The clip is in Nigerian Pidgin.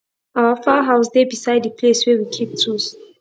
our fowl house dey beside the place wey we keep tools